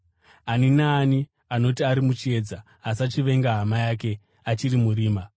Ani naani anoti ari muchiedza asi achivenga hama yake achiri murima.